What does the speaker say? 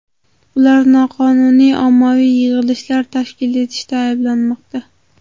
Ular noqonuniy ommaviy yig‘ilishlar tashkil etishda ayblanmoqda.